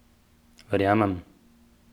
Verjamem!